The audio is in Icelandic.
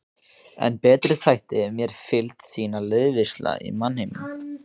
En betri þætti mér fylgd þín og liðveisla í mannheimum.